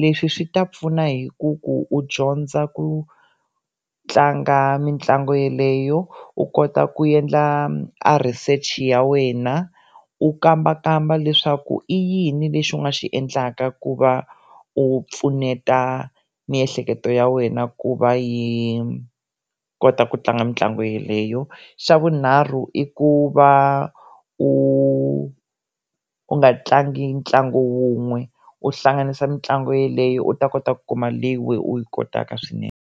leswi swi ta pfuna hi ku ku u dyondza ku tlanga mitlangu yeleyo u kota ku endla a research ya wena u kambakamba leswaku i yini lexi u nga xi endlaka ku va u pfuneta miehleketo ya wena ku va yi kota ku tlanga mitlangu yeleyo xa vunharhu i ku va u u nga tlangi ntlangu wun'we u hlanganisa mitlangu yeleyo u ta kota ku kuma leyi u yi kotaka swinene.